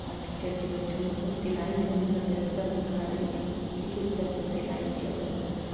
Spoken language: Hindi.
और टीचर जी बच्चों लोग को सिलाई करने का तरीका सिखा रही है की किस तरह से सिलाई किया जाता है।